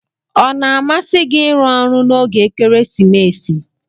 Ona amsi gi irụ ọrụ na oge ekeresimesi?